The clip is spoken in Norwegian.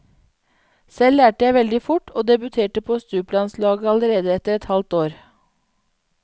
Selv lærte jeg veldig fort og debuterte på stuplandslaget allerede etter et halvt år.